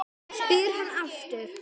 spyr hann aftur.